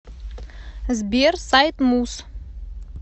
сбер сайт муз